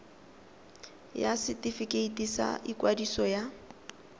ya setefikeiti sa ikwadiso ya